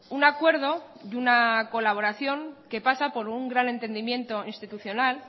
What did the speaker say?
un acuerdo de una colaboración que pasa por un gran entendimiento institucional